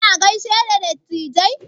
Kina gaishe da dattijai?